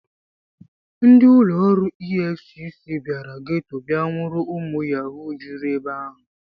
Ndị ụlọ ọrụ EFCC bịara geto bịa nwụrụ ụmụ Yahoo juru ebe ahụ.